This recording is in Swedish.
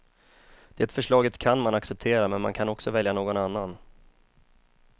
Det förslaget kan man acceptera, men man kan också välja någon annan.